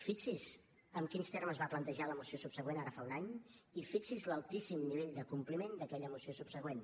fixi’s en quins termes es va plantejar la moció subsegüent ara fa un any i fixi’s en l’altíssim nivell de compliment d’aquella moció subsegüent